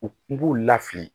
U kun b'u la fili